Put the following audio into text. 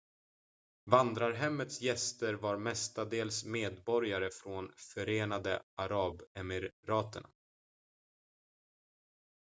vandrarhemmets gäster var mestadels medborgare från förenade arabemiraten